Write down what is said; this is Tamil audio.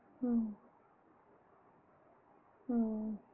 உம் உம் உம்